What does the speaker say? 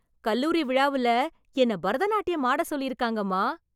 கல்லூரி விழாவுல என்னை பரதநாட்டியம் ஆடச் சொல்லிருக்காங்கம்மா...